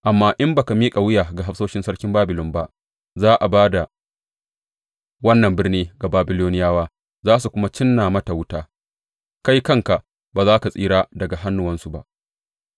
Amma in ba ka miƙa wuya ga hafsoshin sarkin Babilon ba, za a ba da wannan birni ga Babiloniyawa za su kuma cinna mata wuta; kai kanka ba za ka tsira daga hannuwansu ba.’